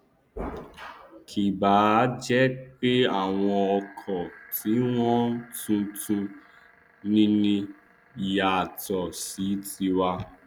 kì báà jẹ pé àwọn ọkọ tiwọn tuntun nini yàtọ sí tiwa